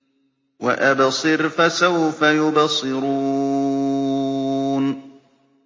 وَأَبْصِرْ فَسَوْفَ يُبْصِرُونَ